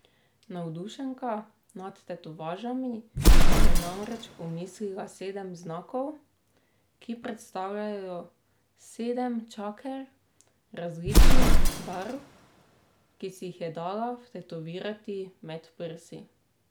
Navdušenka nad tetovažami si je namreč omislila sedem znakov, ki predstavljajo sedem čaker, različnih barv, ki si jih je dala vtetovirati med prsi.